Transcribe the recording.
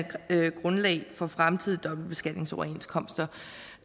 grundlag for fremtidige dobbeltbeskatningsoverenskomster